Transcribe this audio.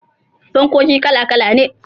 fankoki kala kala ne